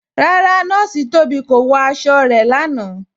Rárá, Nọọ̀ṣì Tóbi kò wọ̀ àṣọ̀ rẹ̀ lánà.